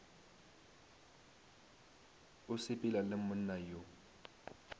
o sepela le monna yo